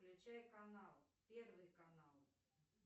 включай канал первый канал